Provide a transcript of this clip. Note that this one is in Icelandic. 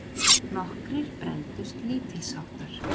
Nokkrir brenndust lítilsháttar.